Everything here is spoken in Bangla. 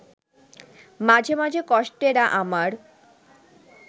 মাঝে মাঝে কষ্টেরা আমার